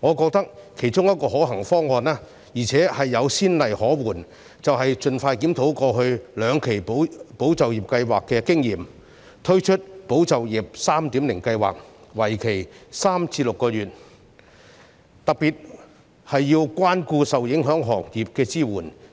我覺得其中一個可行方案——而且有先例可援——便是盡快檢討過去兩期"保就業"計劃的經驗，推出"保就業 3.0" 計劃，為期3至6個月，特別需要關顧受影響行業的支援，